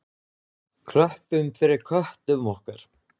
Klöppum fyrir köttum okkar!